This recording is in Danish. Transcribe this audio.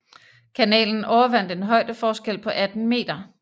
Kanalen overvandt en højdeforskel på 18 meter